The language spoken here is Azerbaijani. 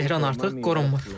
Tehran artıq qorxmur.